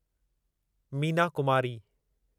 Meena Kumari